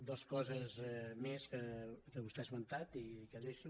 dues coses més que vostè ha esmentat i que deixo